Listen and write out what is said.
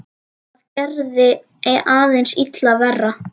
Það gerði aðeins illt verra.